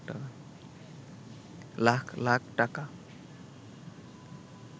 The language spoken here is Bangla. লাখ লাখ টাকা